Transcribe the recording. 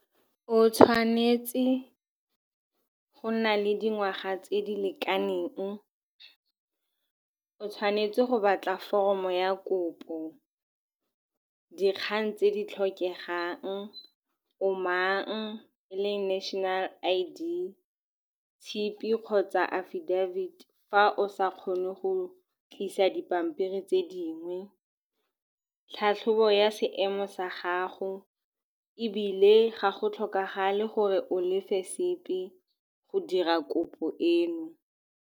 O tshwanetse go nna le dingwaga tse di lekaneng. O tshwanetse go batla foromo ya kopo. Dikgang tse di tlhokegang, o mang, le National I_D, tshipi kgotsa afidafiti fa o sa kgone go tlisa dipampiri tse dingwe. Tlhatlhobo ya seemo sa gago, ebile ga go tlhokagale gore o lefe sepe go dira kopo eno.